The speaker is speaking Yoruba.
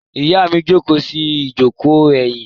Ìyá mi jókòó sí ìjókòó ẹ̀yìn.